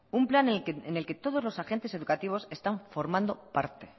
un plan en el que todos los agentes educativos están formando parte